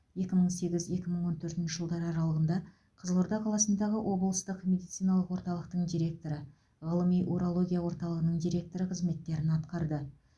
екі мың сегіз екі мың он төртінші жылдар аралығында қызылорда қаласындағы облыстық медициналық орталықтың директоры ғылыми урология орталығының директоры қызметтерін атқарды